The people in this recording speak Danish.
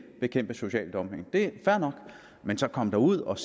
bekæmpe social dumping men så kom dog ud og